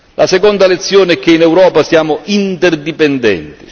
La seconda lezione è che in Europa siamo interdipendenti.